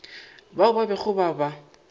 bao ba bego ba ba